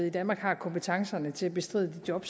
i danmark har kompetencerne til at bestride de job